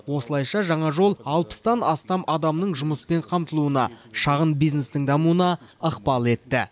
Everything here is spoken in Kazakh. осылайша жаңа жол алпыстан астам адамның жұмыспен қамтылуына шағын бизнестің дамуына ықпал етті